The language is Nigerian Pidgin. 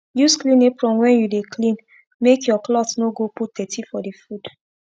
use clean apron when u dey clean make ur cloth no go put dirty for d food